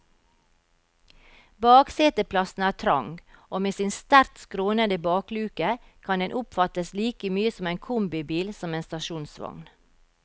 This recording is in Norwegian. Bakseteplassen er trang, og med sin sterkt skrånende bakluke, kan den oppfattes like mye som en kombibil som en stasjonsvogn.